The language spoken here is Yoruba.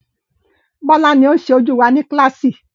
Bọ́lá ni oun sẹ ojú wa ní kílàsì